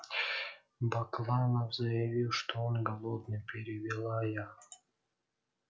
бакланов заявил что он голодный перевела я